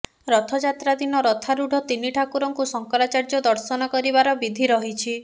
ରଥଯାତ୍ରା ଦିନ ରଥାରୂଢ଼ ତିନି ଠାକୁରଙ୍କୁ ଶଙ୍କରାଚାର୍ଯ୍ୟ ଦର୍ଶନ କରିବାର ବିଧି ରହିଛି